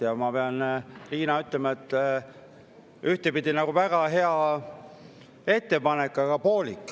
Ja ma pean, Riina, ütlema, et ühtepidi on see väga hea ettepanek, aga poolik.